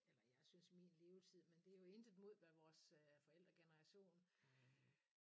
Eller jeg synes min levetid men det jo intet mod hvad vores øh forældregeneration